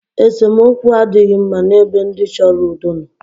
Esemookwu adịghị mma n' ebe ndị chọrọ udo nọ.